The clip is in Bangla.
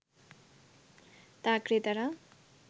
তা ক্রেতারা